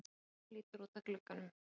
Hún lítur út að glugganum.